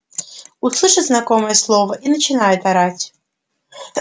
услышит знакомое слово и начинает орать